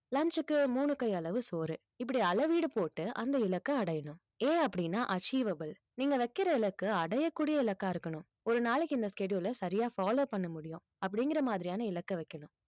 lunch க்கு மூணு கையளவு சோறு இப்படி அளவீடு போட்டு அந்த இலக்கை அடையணும் A அப்படின்னா achievable நீங்க வைக்கிற இலக்கு அடையக்கூடிய இலக்கா இருக்கணும் ஒரு நாளைக்கு இந்த schedule ல சரியா follow பண்ண முடியும் அப்படிங்கிற மாதிரியான இலக்கை வைக்கணும்